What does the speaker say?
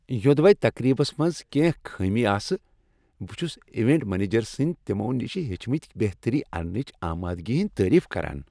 یوٚدوے تقریبس منز کینٛہہ خامیہ آسہٕ، بہٕ چھس ایونٹ منیجر سنٛز تمو نشہ ہیچھتھ بہتری اننچ آمادگی ہندۍ تعریف کران۔